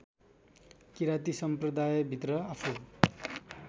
किराँती सम्प्रदायभित्र आफू